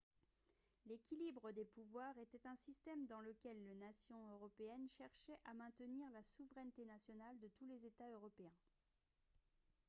l'équilibre des pouvoirs était un système dans lequel les nations européennes cherchaient à maintenir la souveraineté nationale de tous les états européens